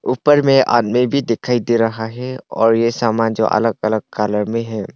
ऊपर में आदमी भी दिखाई दे रहा है और यह सामान जो अलग अलग कलर में है।